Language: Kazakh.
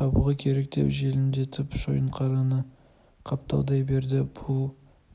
табуға керек деп желдірмелетіп шойынқараны қапталдай берді бұл